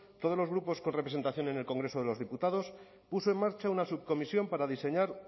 todos los grupos con representación en el congreso de los diputados puso en marcha una subcomisión para diseñar